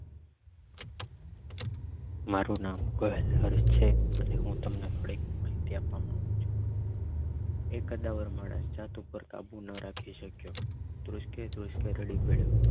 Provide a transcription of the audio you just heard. મારું નામ ગોહિલ હર્ષ છે અને હું તમને થોડીક માહિતી આપવા માંગુ છું એ કદાવર માણસ પોતાની જાત પર કાબુ ના રાખી શક્યો ધ્રુસકે ધ્રુસકે રડી પડ્યો